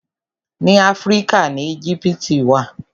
Ni Áfíríkà ni Éjíptì wà.